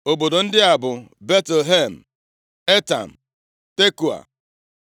Obodo ndị a bụ Betlehem, Etam, Tekoa,